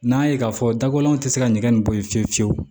N'a ye k'a fɔ dakolon tɛ se ka ɲɛgɛn nin bɔ yen fiyewu fiyewu